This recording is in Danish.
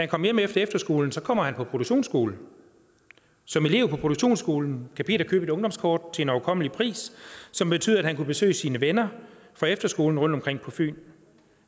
kom hjem efter efterskolen kommer han på produktionsskole som elev på produktionsskolen kan peter købe et ungdomskort til en overkommelig pris som betyder at han kan besøge sine venner fra efterskolen rundtomkring på fyn